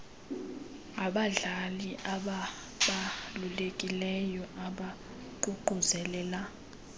ngabadlali ababalulekileyo ukuququzelela